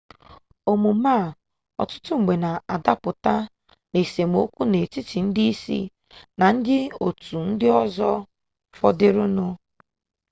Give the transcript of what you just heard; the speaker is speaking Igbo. omume a ọtụtụ mgbe na adapụta n'esemokwu n'etiti ndị isi na ndị otu ndị ọzọ fọdụrụnụ